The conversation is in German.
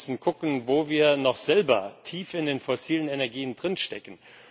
Wir müssen gucken, wo wir noch selber tief in den fossilen Energien drinstecken.